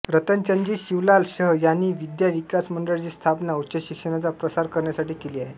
रतनचंदजी शिवलाल शह यांनी विद्या विकास मंडळाची स्थापना उच्च शिक्षणाचा प्रसार करण्यासाठी केली आहे